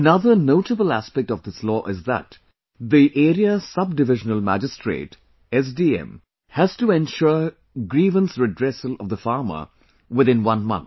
Another notable aspect of this law is that the area Sub Divisional Magistrate SDM has to ensure grievance redressal of the farmer within one month